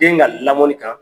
Den ka lamɔni kan